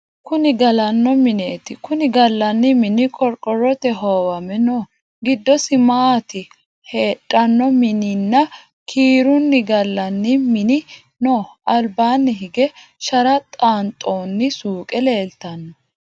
Kunni galano mineti kunni galani mini qoriqorote hoowame no gidosi maate hedhano mininna kiruni galani mini no alibaanni higge shara xaanxoni suuqe leelitano.